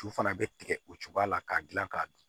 Tu fana bɛ tigɛ o cogoya la k'a dilan k'a dun